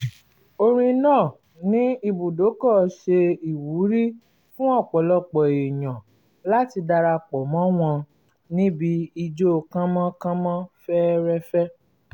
orin náà ní ibùdókọ̀ ṣe ìwúrí fún ọ̀pọ̀lọpọ̀ èèyàn láti dara pọ̀ mọ́ wọn níbi ijó kánmọ́kánmọ́ fẹ́rẹ́fẹ́